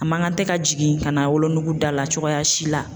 A man kan tɛ ka jigin ka na wolonugu da la cogoya si la.